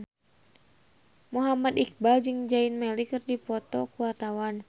Muhammad Iqbal jeung Zayn Malik keur dipoto ku wartawan